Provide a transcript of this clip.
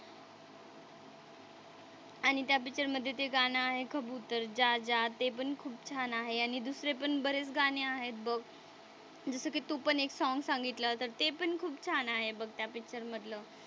आणि त्या पिक्चरमधे ते गाणं आहे कबुतर जा जा ते पण खूप छान आहे आणि दुसरे पण बरेच गाणी आहेत बघ. जसं की तू पण एक सॉंग सांगितलं आता ते पण खूप छान आहे बघ त्या पिक्चरमधलं.